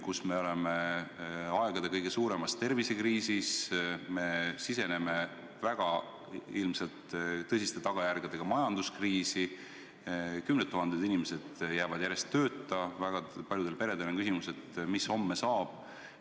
Praegu me oleme aegade kõige suuremas tervisekriisis, me siseneme ilmselt väga tõsiste tagajärgedega majanduskriisi, kümned tuhanded inimesed jäävad järjest tööta, väga paljudes peredes on küsimus, mis homme saab.